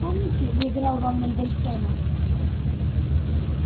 помните я играл вам мендельсона